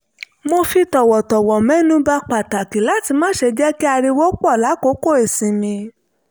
mo fi tọ̀wọ̀tọ̀wọ̀ mẹ́nuba pàtàkì láti má ṣe jẹ́ kí ariwo pọ̀ lákòókò ìsinmi